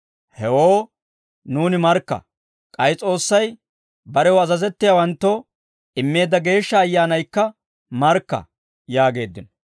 Hewoo nuuni markka; k'ay S'oossay barew azazettiyaawanttoo immeedda Geeshsha Ayyaanaykka markka» yaageeddino.